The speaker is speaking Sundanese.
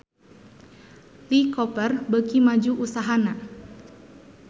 Lee Cooper beuki maju usahana